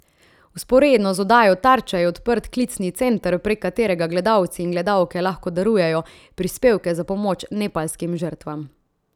Vzporedno z oddajo Tarča je odprt klicni center, prek katerega gledalci in gledalke lahko darujejo prispevke za pomoč nepalskim žrtvam.